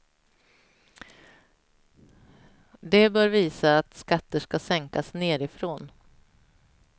Det bör visa att skatter ska sänkas nerifrån.